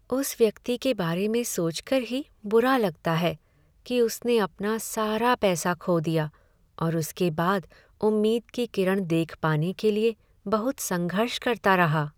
उस व्यक्ति के बारे में सोचकर ही बुरा लगता है कि उसने अपना सारा पैसा खो दिया और उसके बाद उम्मीद की किरण देख पाने के लिए बहुत संघर्ष करता रहा।